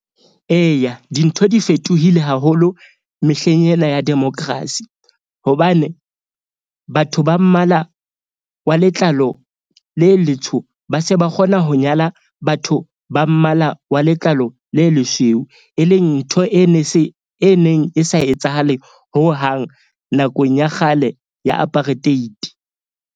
Eya, dintho di fetohile haholo mehleng ena ya democracy. Hobane batho ba mmala wa letlalo le letsho ba se ba kgona ho nyala batho ba mmala wa letlalo le lesweu. E leng ntho e ne e neng e sa etsahale hohang nakong ya kgale ya apartheid.